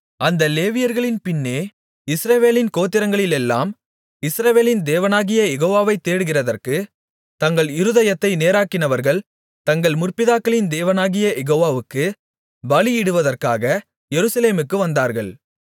அந்த லேவியர்களின் பின்னே இஸ்ரவேலின் கோத்திரங்களிலெல்லாம் இஸ்ரவேலின் தேவனாகிய யெகோவாவை தேடுகிறதற்கு தங்கள் இருதயத்தை நேராக்கினவர்கள் தங்கள் முற்பிதாக்களின் தேவனாகிய யெகோவாவுக்குப் பலியிடுவதற்காக எருசலேமுக்கு வந்தார்கள்